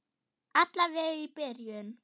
Alla vega í byrjun.